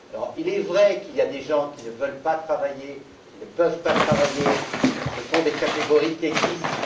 Il est vrai qu'il y a des gens qui ne veulent pas, qui ne peuvent pas travailler, ce sont des catégories qui existent